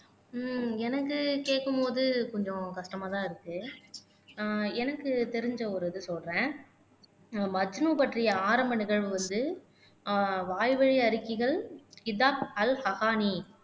ஹம் எனக்கு கேக்கும் போது கொஞ்சம் கஷ்டமா தான் இருக்கு ஆஹ் எனக்கு தெரிஞ்ச ஒரு இது சொல்றேன் மஜ்னு பற்றிய ஆரம்ப நிகழ்வு வந்து ஆஹ் வாய்வழி அறிக்கைகள் கிதாப் அல் ஹபானி